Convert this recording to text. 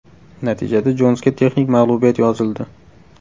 Natijada Jonsga texnik mag‘lubiyat yozildi.